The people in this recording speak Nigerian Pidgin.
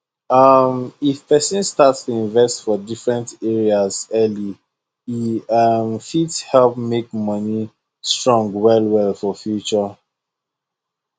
um if person start to invest for different areas early e um fit help make money strong wellwell for future